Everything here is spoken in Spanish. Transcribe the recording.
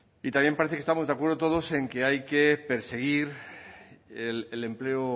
y también parece que estamos de acuerdo todos en que hay que perseguir el empleo